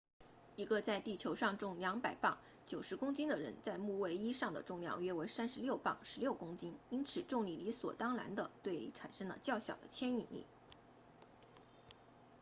一个在地球上重200磅90公斤的人在木卫一上的重量约为36磅16公斤因此重力理所当然地对你产生了较小的牵引力